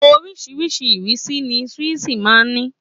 Oríṣìíríṣìí ìrísí ni swíìṣì máa ń ní